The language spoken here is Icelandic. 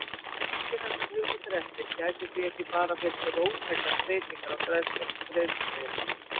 Gangi þessar hugmyndir eftir gætu því ekki bara fylgt róttækar breytingar á greiðslumiðlun.